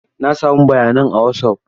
Na samu bayanan a Wasaf.